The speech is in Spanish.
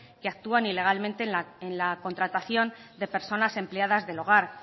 que actúan ilegalmente en la contratación de personas empleadas del hogar